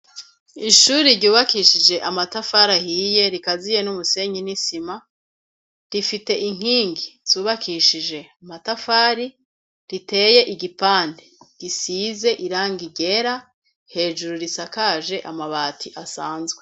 Ishuri ryubakishije amatafari ahiye rikaziye n'umusenyi n'isima rifise inkingi zubakishije amatafari riteye igipande gisize irangi ryera hejuru risakaje amabati asanzwe.